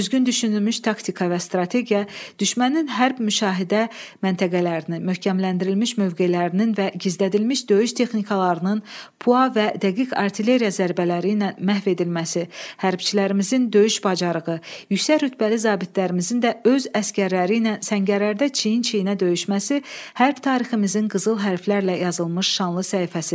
Düzgün düşünülmüş taktika və strategiya, düşmənin hərb müşahidə məntəqələrinin, möhkəmləndirilmiş mövqelərinin və gizlədilmiş döyüş texnikalarının puax və dəqiq artilleriya zərbələri ilə məhv edilməsi, hərbçilərimizin döyüş bacarığı, yüksək rütbəli zabitlərimizin də öz əsgərləri ilə səngərlərdə çiyin-çiyinə döyüşməsi hərb tariximizin qızıl hərflərlə yazılmış şanlı səhifəsidir.